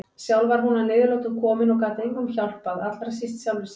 Sjálf var hún að niðurlotum komin og gat engum hjálpað, allra síst sjálfri sér.